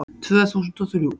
Tvö þúsund og þrjú